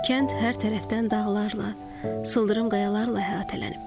Kənd hər tərəfdən dağlarla, sıldırım qayalarla əhatələnib.